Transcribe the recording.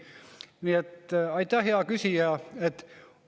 Nii et aitäh, hea küsija!